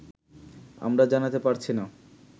আমরা জানাতে পারছি না